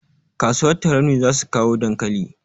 Kasuwar tarauni zasu kawo dankali